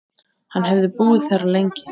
Hann hefði búið þar lengi.